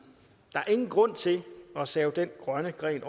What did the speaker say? der er ingen grund til at save den grønne gren